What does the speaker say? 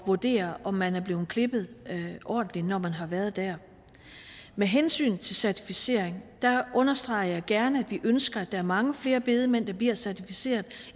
vurdere om man er blevet klippet ordentligt når man har været der med hensyn til certificeringen understreger jeg gerne at vi ønsker at der er mange flere bedemænd der bliver certificeret og